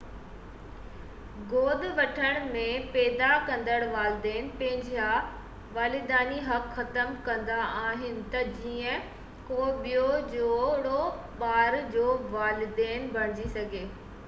گود وٺڻ ۾ پيدا ڪندڙ والدين پنهنجا والديني حق ختم ڪندا آهن ته جيئن ڪو ٻيو جوڙو ٻار جو والدين بڻجي سگهي